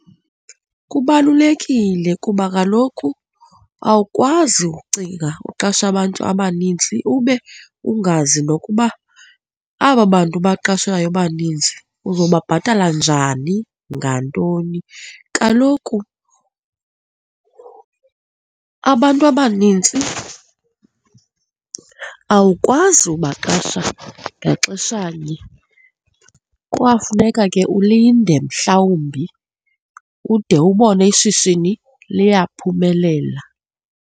Kubalulekile kuba kaloku awukwazi ucinga uqasha abantu abanintsi ube ungazi nokuba aba bantu ubaqashayo baninzi uzobabhatala njani, ngantoni. Kaloku abantu abanintsi awukwazi ubaqasha ngaxeshanye kwafuneka ke ulinde mhlawumbi ude ubone ishishini liyaphumelela.